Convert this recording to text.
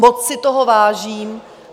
Moc si toho vážím.